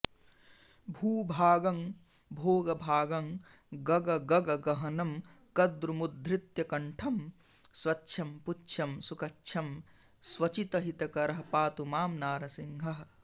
भूभागं भोगभागं गगगगगहनं कद्रुमुद्धृत्य कण्ठं स्वच्छं पुच्छं सुकच्छं स्वचितहितकरः पातु मां नारसिंहः